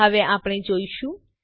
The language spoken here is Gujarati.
હવે આપણે આ જોઈશું